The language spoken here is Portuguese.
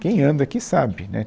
Quem anda aqui sabe, né